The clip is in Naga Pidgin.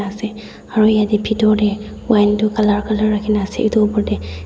ase aru yatae bhitor tae wine tu Colour colour rakhina ase edu opor tae.